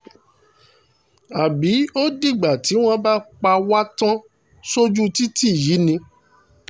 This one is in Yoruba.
àbí ó dìgbà tí wọ́n bá pa wá tán sójú títì yìí ni